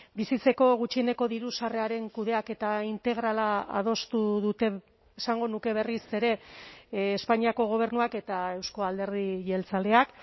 bizitzeko gutxieneko diru sarreraren kudeaketa integrala adostu dute esango nuke berriz ere espainiako gobernuak eta euzko alderdi jeltzaleak